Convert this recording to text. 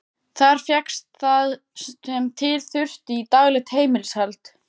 Þar fékkst það sem til þurfti í daglegt heimilishald.